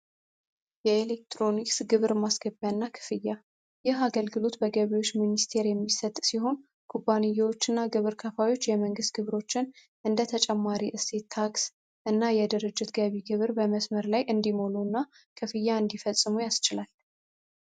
የኤሌክትሮኒክስ ግብር ማስከቢያ እና ክፍያ ይህ አገልግሉት በገቢዎች ሚኒስቴር የሚሰጥ ሲሆን ኩባኒዎች እና ግብር ከፋዮች የመንግሥት ግብሮችን እንደ ተጨማሪ እሴት ታክስ እና የድርጅት ገቢ ግብር በመስመር ላይ እንዲሙሉ እና ክፍያ እንዲፈጽሙ ያስችላል።